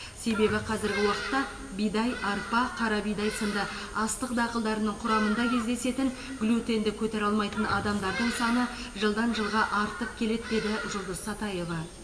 себебі қазіргі уақытта бидай арпа қара бидай сынды астық дақылдарының құрамында кездесетін глютенді көтере алмайтын адамдардың саны жылдан жылға артып келеді деді жұлдыз сатаева